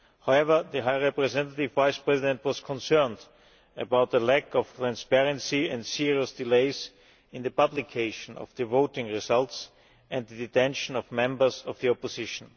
However, the High Representative Vice President was concerned about a lack of transparency and serious delays in the publication of the voting results and the detention of members of the opposition.